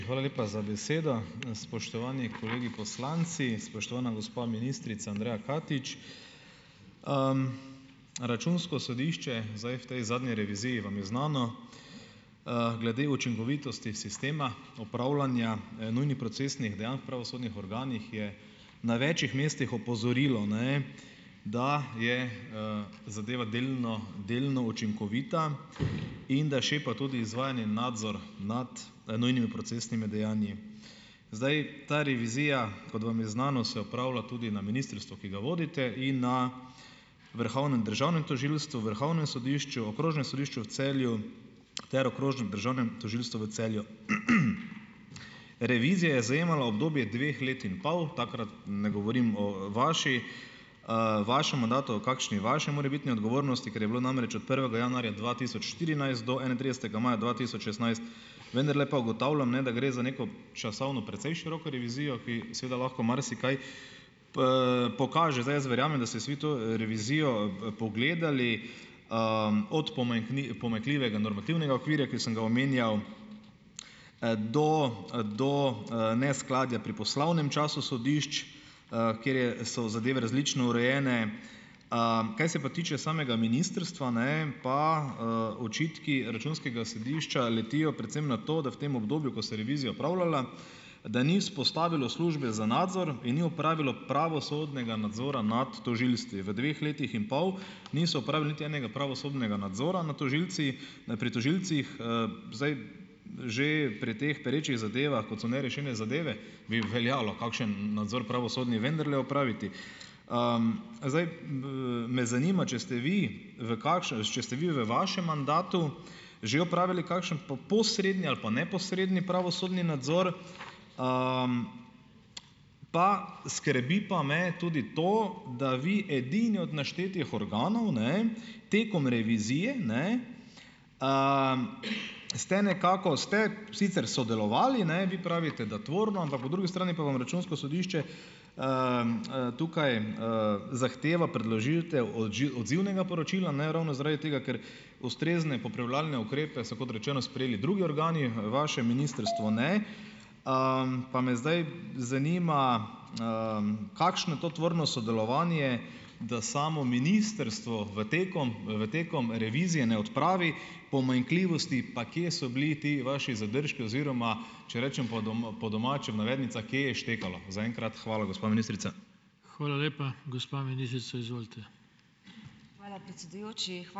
Hvala lepa za besedo. Spoštovani kolegi poslanci , spoštovana gospa ministrica Andreja Katič. računsko sodišče, zdaj v tej zadnji reviziji vam je znano, glede učinkovitosti sistema, upravljanja, nujnih procesnih dejanj pravosodnih organih je na večih mestih opozorilo, ne, da je, zadeva delno, delno učinkovita in da šepa tudi izvajanje nadzora nad nujnimi procesnimi dejanji. Zdaj, ta revizija, kot vam je znano, se opravlja tudi na ministrstvu, ki ga vodite in na Vrhovnem državnem tožilstvu, Vrhovnem sodišču, Okrožnem sodišču v Celju ter Okrožnem državnem tožilstvu v Celju. Revizija zajemala obdobje dveh let in pol, takrat ne govorim o vaši, vašem mandatu, kakšni vaši morebitni odgovornosti, ker je bilo namreč prvega januarja dva tisoč štirinajst do enaintridesetega maja dva tisoč šestnajst, vendarle pa ugotavljam, ne, da gre za neko časovno precej široko revizijo, ki seveda lahko marsikaj pokaže. Zdaj, jaz verjamem, da se vsi to, revizijo pogledali, od pomanjkljivega normativnega okvirja, ki sem ga omenja, do, do, neskladja pri poslovnem času sodišč, kjer je, so zadeve različno urejene. kaj se pa tiče samega ministrstva, ne, pa očitki računskega sodišča letijo predvsem na to, da v tem obdobju, ko se revizija opravljala, da ni vzpostavilo službe za nadzor in ni opravilo pravosodnega nadzora nad tožilstvi. V dveh letih in pol niso opravili niti enega pravosodnega nadzora nad tožilci, pri tožilcih, Zdaj že pri teh perečih zadevah, kot so nerešene zadeve, bi veljalo kakšen nadzor pravosodni vendarle opraviti. zdaj me zanima, če ste vi v če ste vi v vašem mandatu že opravili kakšen posredni ali pa neposredni pravosodni nadzor. Pa skrbi pa me tudi to, da vi edini od naštetih organov, ne, tekom revizije, ne, ste nekako, ste sicer sodelovali, ne, vi pravite, da tvorno, ampak po drugi strani pa vam računsko sodišče, tukaj, zahtevo predložilo o odzivnega poročila, ne, ravno zaradi tega, ker ustrezne popravljalne ukrepe so, kot rečeno, sprejeli drugi organi, vaše ministrstvo, ne. pa me zdaj zanima, kakšno to tvorno sodelovanje, da samo ministrstvo v tekom, v tekom revizije ne odpravi pomanjkljivosti, pa kje so bili ti vaši zadržki oziroma, če rečem po po domače v navednicah, kje je štekalo? Zaenkrat hvala, gospa ministrica.